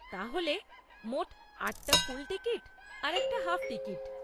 তাহলে মোট আটটা ফুল টিকিট আর একটা হাফ টিকিট।